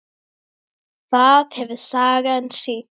Það hefur sagan sýnt.